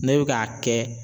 Ne bɛ k'a kɛ